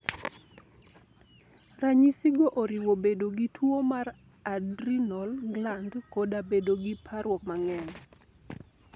Ranyisigo oriwo bedo gi tuwo mar adrenal gland, koda bedo gi parruok mang'eny.